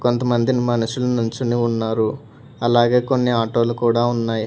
కొంతమంది మనుషులు నించుని ఉన్నారు అలాగే కొన్ని ఆటో లు కూడా ఉన్నాయి.